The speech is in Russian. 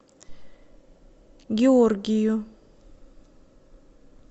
георгию